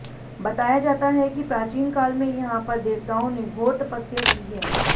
बताया जाता है कि प्राचीनकाल में यहां पर देवताओं ने घोर तपस्या की है